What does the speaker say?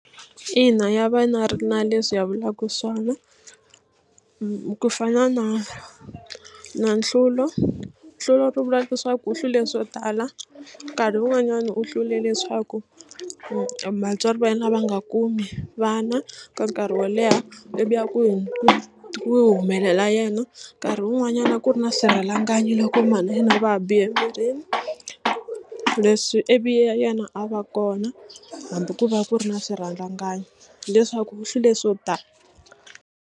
Ina ya va na ri na leswi ya vulaka swona ku fana na na nhlulo nhlulo ro vula leswaku u hlule swo tala nkarhi wun'wanyani u hlule leswaku ku vatswari va yena va nga kumi vana ka nkarhi wo leha ivi ya ku humelela yena nkarhi wun'wanyana a ku ri na swirhalanganyi loko mhani va yena va ha bihe emirini leswi ivi yena a va kona hambi ku va ku ri na swirhalanganyi hileswaku u hlule swo tala.